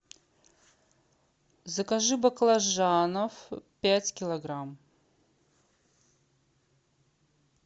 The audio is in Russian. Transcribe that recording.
закажи баклажанов пять килограмм